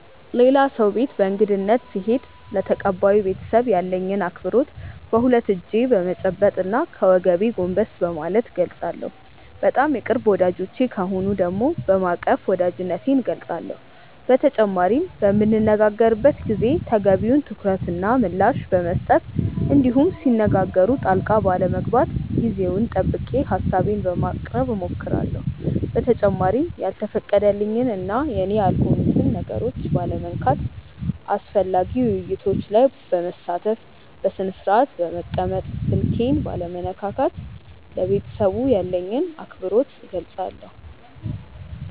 ሌላ ሰው ቤት በእንግድነት ስሄድ ለተቀባዩ ቤተሰብ ያለኝን አክብሮት በሁለት እጄ በመጨበጥ እና ከወገቤ ጎንበስ በማለት እገልፃለሁ። በጣም የቅርብ ወዳጆቼ ከሆኑ ደግሞ በማቀፍ ወዳጅነቴን እገልፃለሁ። በተጨማሪም በምንነጋገርበት ጊዜ ተገቢውን ትኩረት እና ምላሽ በመስጠት እንዲሁም ሲነጋገሩ ጣልቃ ባለመግባት ጊዜውን ጠብቄ ሀሳቤን በማቅረብ እሞክራለሁ። በተጨማሪም ያልተፈቀደልኝን እና የኔ ያልሆኑትን ነገሮች ባለመንካት፣ አስፈላጊ ውይይቶች ላይ በመሳተፍ፣ በስነስርአት በመቀመጥ፣ ስልኬን ባለመነካካት ለቤተሰቡ ያለኝን አክብሮት እገልፃለሁ።